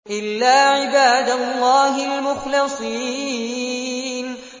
إِلَّا عِبَادَ اللَّهِ الْمُخْلَصِينَ